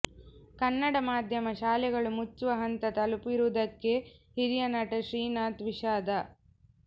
ಕನ್ನಡ ಮಾಧ್ಯಮ ಶಾಲೆಗಳು ಮುಚ್ಚುವ ಹಂತ ತಲುಪಿರುವುದಕ್ಕೆ ಹಿರಿಯ ನಟ ಶ್ರೀನಾಥ್ ವಿಷಾದ